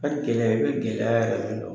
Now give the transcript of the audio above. Ka gɛlɛ, i bɛ gɛlɛya yɛrɛ yɛrɛ dɔn.